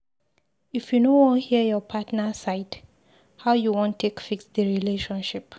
If you no wan hear your partner side, how you wan take fix di relationship?